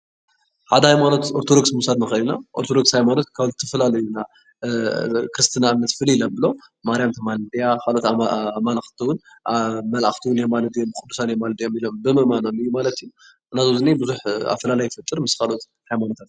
ሓደ ሃይማኖት ኦርቶዶክስ ምውሳድ ንክእል ኢና ኦርቶዶክስ ሃይማኖት ካብ ዝፈላልዮ ክርስትና እምነት ፍልይ ዘብሎም ማርያም ተማልድ እያ ካልኦት ኣማልክትን መላእክቲ የማሉዱ እዮም ቁዱሳትን የማሉዱ እዮም ኢሎም ብምእማኖም ማለት እዩ ብዙሕ ኣፈላላይ ይፈጥር ምስ ካልኦት ሃይማኖታት።